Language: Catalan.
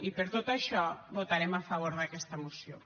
i per tot això votarem a favor d’aquesta moció